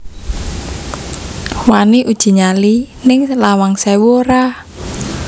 Wani uji nyali ning Lawang Sewu ora